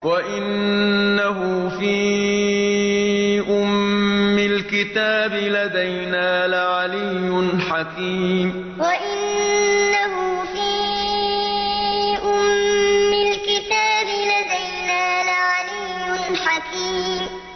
وَإِنَّهُ فِي أُمِّ الْكِتَابِ لَدَيْنَا لَعَلِيٌّ حَكِيمٌ وَإِنَّهُ فِي أُمِّ الْكِتَابِ لَدَيْنَا لَعَلِيٌّ حَكِيمٌ